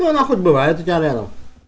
бывает